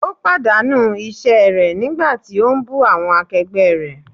Ó pàdánù iṣẹ́ rẹ̀ nígbà tí ó ń bú awọn akẹgbẹ́ rẹ̀.